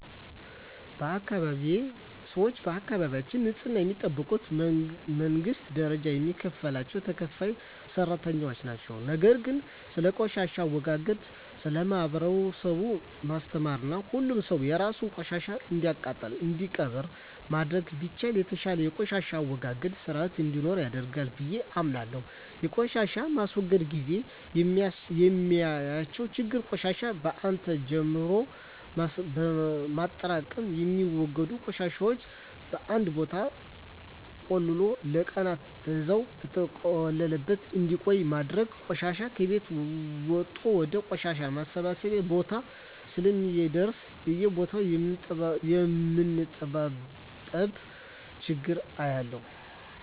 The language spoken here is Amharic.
በአካባቢየ ሰወች የአካባቢያቸውን ንጽህና የሚጠብቁት በመንግስት ደረጃ የሚከፈላቸው ተከፋይ ሰራተኞች ነው። ነገር ግን ስለቆሻሻ አወጋገድ ለማህበረሰቡ ማስተማርና ሁሉም ሰው የራሱን ቆሻሻ እንዲያቃጥልና እንዲቀብር ማድረግ ቢቻል የተሻለ የቆሻሻ አወጋገድ ስርአት እንዲኖረን ያደርጋል ብየ አምናለሁ። በቆሻሻ ማስወገድ ግዜ የማያቸው ችግሮች ቆሻሻን በአን ጀምሎ ማጠራቅም፣ የሚወገዱ ቆሻሻወችን በአንድ ቦታ ቆልሎ ለቀናን በዛው በተቆለለበት እንዲቆይ ማድረግና ቆሻሻ ከቤት ወጦ ወደ ቆሻሻ ማሰባሰቢያ ቦታ እስከሚደርስ በየቦታው የማንጠባጠብ ችግር አያለሁ።